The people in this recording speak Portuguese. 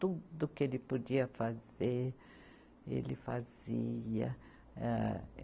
Tudo que ele podia fazer, ele fazia. Âh